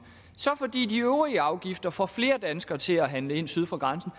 så fordi de øvrige afgifter får flere danskere til at handle ind syd for grænsen